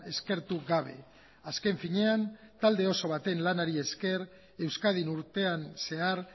eskertu gabe azken finean talde oso baten lanari esker euskadin urtean zehar